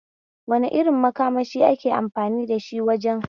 Wane irin makamashi ake amfani dashi wajen?